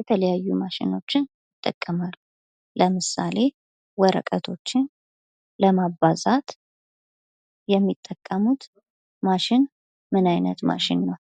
የተለያዩ ማሽኖችን ይጠቀማሉ ። ለምሳሌ ወረቀቶችን ለማባዛት የሚጠቀሙት ማሽን ምን አይነት ማሽን ነው?